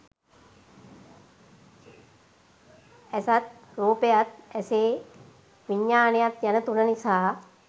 ඇසත් රූපයත් ඇසේ විඥානයත් යන තුන නිසා